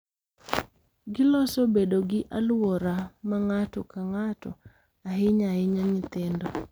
Giloso bedo gi alwora ma ng’ato ka ng’ato—ahinya ahinya nyithindo—